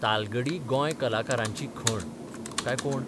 तालगडी गोंय कलाकारांची खण , काय कोंड?